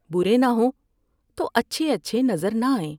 برے نہ ہوں تو اچھے اچھے نظر نہ آئیں ۔